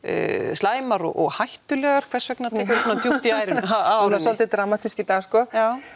slæmar og hættulegar hvers vegna tekurðu svona djúpt í árina svolítið dramatísk í dag sko